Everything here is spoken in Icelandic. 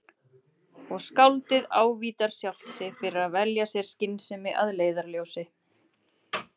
Og skáldið ávítar sjálft sig fyrir að velja sér skynsemi að leiðarljósi.